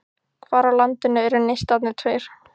Hvar á landinu eru Neistarnir tveir?